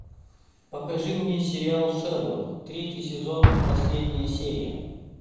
покажи мне сериал шерлок третий сезон последняя серия